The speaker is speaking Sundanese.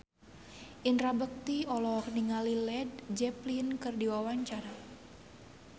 Indra Bekti olohok ningali Led Zeppelin keur diwawancara